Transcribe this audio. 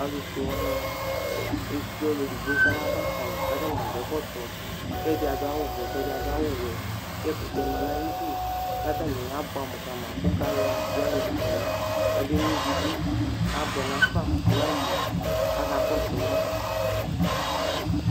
alu fue wʋani ekple ɔlu edigbo kayaba fayi k'ata ni adu ɛkɔtɔ, k'ɛdi adu awu vɛ, k'ɛdi adu awu wɛ, k'ɛkutɛ ma n'ayidu k'atani abʋam ka ma ku galon, dzɛrik lɛ kabe nʋivi du abʋɛ nafa nɔmu aka kɔsu ma